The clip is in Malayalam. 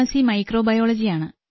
സി മൈക്രോബയോളജി ആണ്